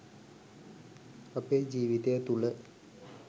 අපේ ජීවිතය තුළ